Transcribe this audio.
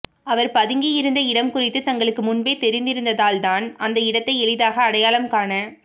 அவர் பதுங்கியிருந்த இடம் குறித்து தங்களுக்கு முன்பே தெரிந்திருந்ததால்தான் அந்த இடத்தை எளிதாக அடையாளம் காண